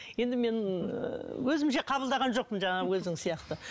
енді мен өзімше қабылдаған жоқпын жаңағы өзің сияқты